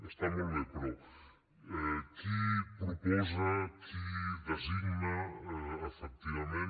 està molt bé però qui proposa qui designa efectivament